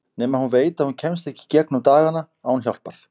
Nema hún veit að hún kemst ekki í gegnum dagana án hjálpar.